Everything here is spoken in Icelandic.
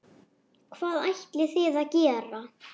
Hvað ætlið þið að gera?